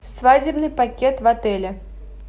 свадебный пакет в отеле